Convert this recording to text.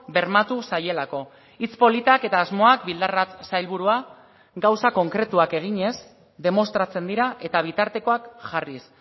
bermatu zaielako hitz politak eta asmoak bildarratz sailburua gauza konkretuak eginez demostratzen dira eta bitartekoak jarriz